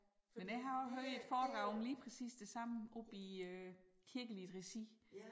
Men jeg har også hørt et foredrag om lige præcis det samme oppe i øh kirkeligt regi